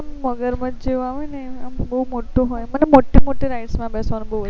આમ મગર મચ જેવા હોય ને આમ બહુ મોટો મને મોટી મોટી rides માં બેસવાનું બહુ